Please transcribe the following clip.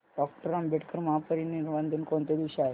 doctor Ambedkar महापरिनिर्वाण दिन कोणत्या दिवशी आहे